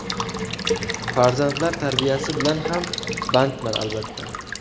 Farzandlar tarbiyasi bilan ham bandman, albatta.